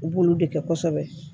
U b'olu de kɛ kosɛbɛ